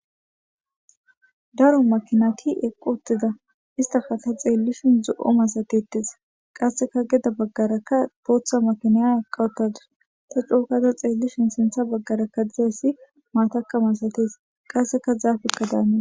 daro makinati eqqo uttida istaka ta xeellishin zo7o masatettes qasseka geda baggarakka booththa makinaya aqawutadis ta coo eqada xeellishin sintha baggarakka dizayssi maataka masates qasseka zaafekka daana